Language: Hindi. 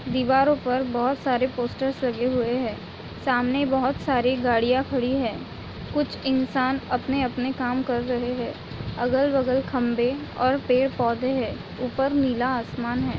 दीवारों पर बहोत सारे पोस्टर्स लगे हुए हैं सामने बहोत सारी गाड़ियाँ खड़ी है कुछ इंसान अपने -अपने काम कर रहे हैं अगल-बगल खंभे और पेड़ पौधे हैं ऊपर नीला आसमान है।